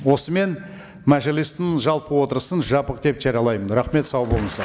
осымен мәжілістің жалпы отырысын жабық деп жариялаймын рахмет сау болыңыздар